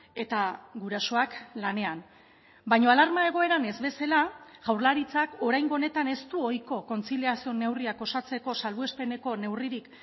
eta gurasoak lanean baina alarma egoeran ez bezala jaurlaritzak oraingo honetan ez du ohiko kontziliazio neurriak osatzeko salbuespeneko neurririk